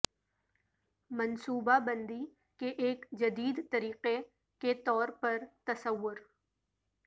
منصوبہ بندی کے ایک جدید طریقہ کے طور پر تصور